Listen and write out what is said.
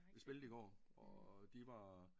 De spillede i går og øh de var